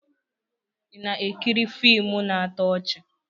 Ị na-ekiri fiimu na-atọ ọchị?